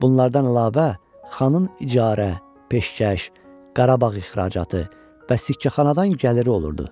Bunlardan əlavə xanın icarə, peşkəş, Qarabağ ixracatı və sikkəxanadan gəliri olurdu.